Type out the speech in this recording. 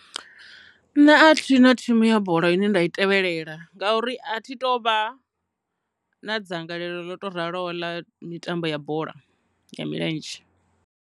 Nṋe a thina thimu ya bola ine nda i tevhelela ngauri a thi to vha na dzangalelo nga u tou raloho ḽa mitambo ya bola ya milenzhe.